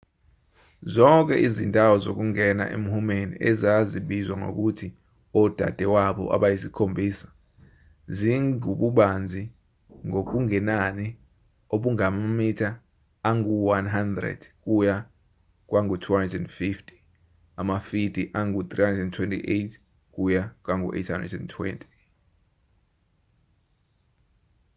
zonke izindawo zokungena emhumeni ezazibizwa ngokuthi odadewabo abayisikhombisa zingububanzi ngokungenani obungamamitha angu-100 kuya kwangu-250 amafidi angu-328 kuya kwangu-820